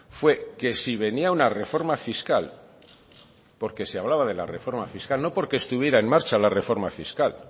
fue que si venía una reforma fiscal porque se hablaba de la reforma fiscal no porque estuvieran en marcha la reforma fiscal